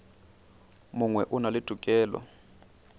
mongwe o na le tokelo